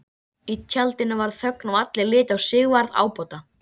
Í tjaldinu varð þögn og allir litu á Sigvarð ábóta.